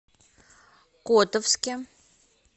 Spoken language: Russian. котовске